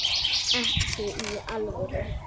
Ekki í alvöru.